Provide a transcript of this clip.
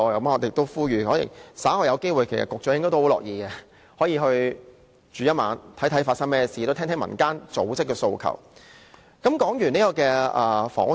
我們呼籲，稍後有機會的話，局長也試住一晚，看看真實的情況，聽聽民間組織的訴求，我想他應該很樂意。